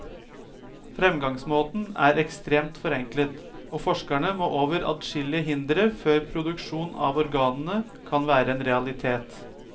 Fremgangsmåten er ekstremt forenklet, og forskerne må over adskillige hindre før produksjon av organene kan være en realitet.